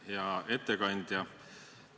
Hea ettekandja!